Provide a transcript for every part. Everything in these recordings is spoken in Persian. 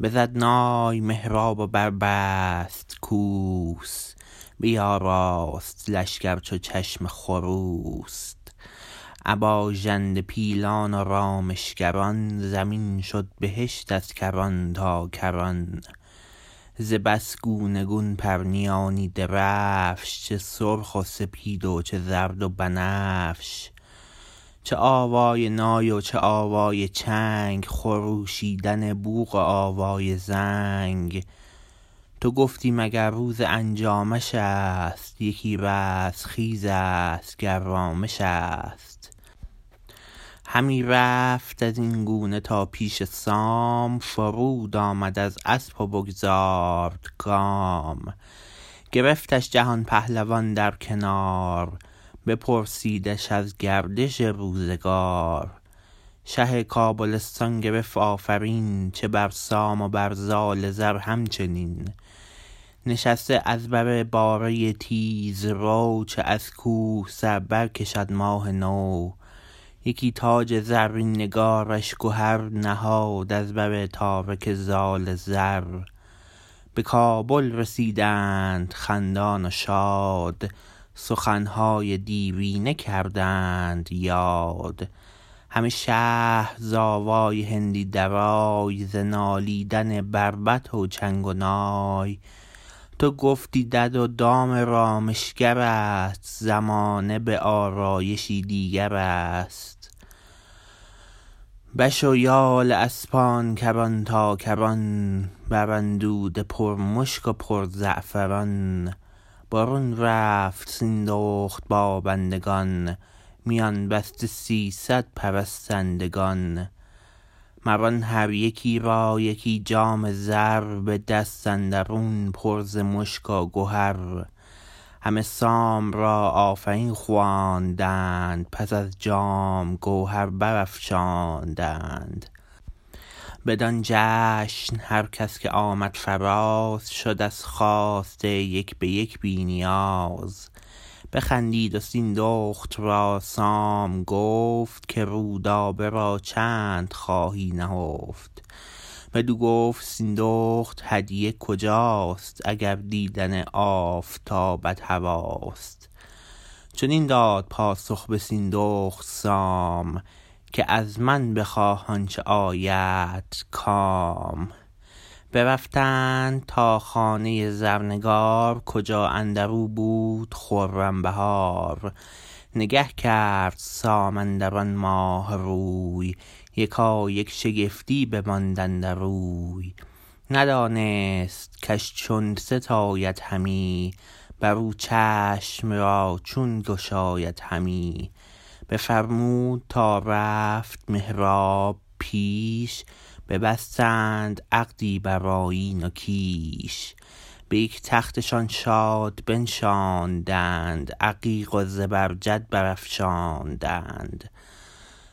بزد نای مهراب و بربست کوس بیاراست لشکر چو چشم خروس ابا ژنده پیلان و رامشگران زمین شد بهشت از کران تا کران ز بس گونه گون پرنیانی درفش چه سرخ و سپید و چه زرد و بنفش چه آوای نای و چه آوای چنگ خروشیدن بوق و آوای زنگ تو گفتی مگر روز انجامش است یکی رستخیز است گر رامش است همی رفت ازین گونه تا پیش سام فرود آمد از اسپ و بگذارد گام گرفتش جهان پهلوان در کنار بپرسیدش از گردش روزگار شه کابلستان گرفت آفرین چه بر سام و بر زال زر همچنین نشست از بر باره تیزرو چو از کوه سر برکشد ماه نو یکی تاج زرین نگارش گهر نهاد از بر تارک زال زر به کابل رسیدند خندان و شاد سخنهای دیرینه کردند یاد همه شهر ز آوای هندی درای ز نالیدن بربط و چنگ و نای تو گفتی دد و دام رامشگرست زمانه به آرایشی دیگرست بش و یال اسپان کران تا کران بر اندوده پر مشک و پر زعفران برون رفت سیندخت با بندگان میان بسته سیصد پرستندگان مر آن هر یکی را یکی جام زر به دست اندرون پر ز مشک و گهر همه سام را آفرین خواندند پس از جام گوهر برافشاندند بدان جشن هر کس که آمد فراز شد از خواسته یک به یک بی نیاز بخندید و سیندخت را سام گفت که رودابه را چند خواهی نهفت بدو گفت سیندخت هدیه کجاست اگر دیدن آفتابت هواست چنین داد پاسخ به سیندخت سام که ازمن بخواه آنچه آیدت کام برفتند تا خانه زرنگار کجا اندرو بود خرم بهار نگه کرد سام اندران ماه روی یکایک شگفتی بماند اندروی ندانست کش چون ستاید همی برو چشم را چون گشاید همی بفرمود تا رفت مهراب پیش ببستند عقدی برآیین و کیش به یک تختشان شاد بنشاندند عقیق و زبرجد برافشاندند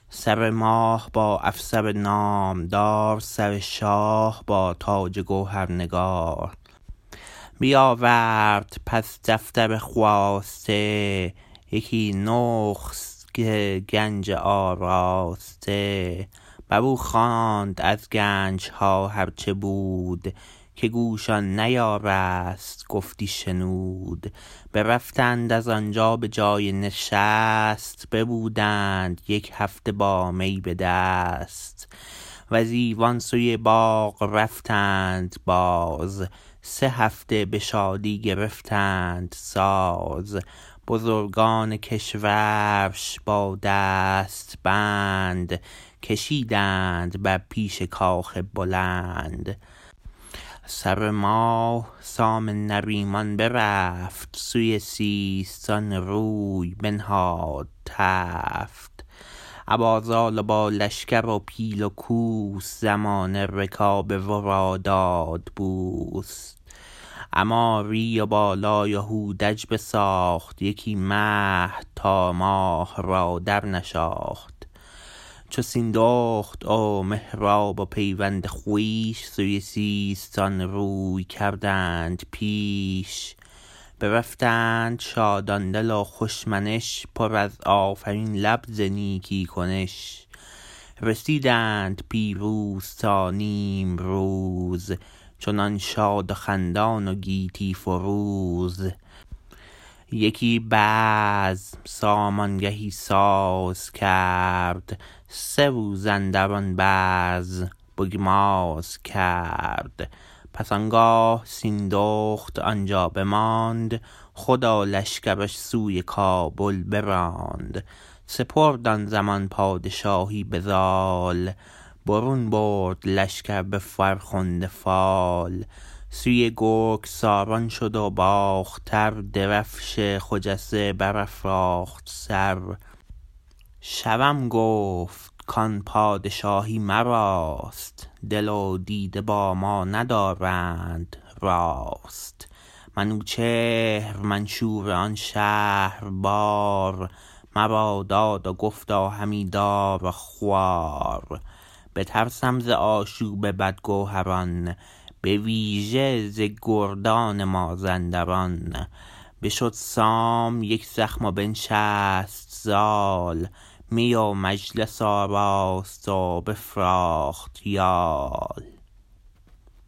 سر ماه با افسر نام دار سر شاه با تاج گوهرنگار بیاورد پس دفتر خواسته یکی نسخت گنج آراسته برو خواند از گنجها هر چه بود که گوش آن نیارست گفتی شنود برفتند از آنجا به جای نشست ببودند یک هفته با می به دست وز ایوان سوی باغ رفتند باز سه هفته به شادی گرفتند ساز بزرگان کشورش با دست بند کشیدند بر پیش کاخ بلند سر ماه سام نریمان برفت سوی سیستان روی بنهاد تفت ابا زال و با لشکر و پیل و کوس زمانه رکاب ورا داد بوس عماری و بالای و هودج بساخت یکی مهد تا ماه را در نشاخت چو سیندخت و مهراب و پیوند خویش سوی سیستان روی کردند پیش برفتند شادان دل و خوش منش پر از آفرین لب ز نیکی کنش رسیدند پیروز تا نیمروز چنان شاد و خندان و گیتی فروز یکی بزم سام آنگهی ساز کرد سه روز اندران بزم بگماز کرد پس آنگاه سیندخت آنجا بماند خود و لشکرش سوی کابل براند سپرد آن زمان پادشاهی به زال برون برد لشکر به فرخنده فال سوی گرگساران شد و باختر درفش خجسته برافراخت سر شوم گفت کان پادشاهی مراست دل و دیده با ما ندارند راست منوچهر منشور آن شهر بر مرا داد و گفتا همی دار و خوار بترسم ز آشوب بد گوهران به ویژه ز گردان مازنداران بشد سام یکزخم و بنشست زال می و مجلس آراست و بفراخت یال